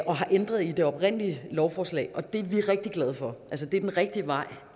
og har ændret i det oprindelige lovforslag og det er vi rigtig glade for det er den rigtige vej